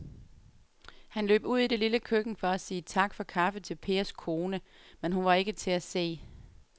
Han løb ud i det lille køkken for at sige tak for kaffe til Pers kone, men hun var ikke til at se.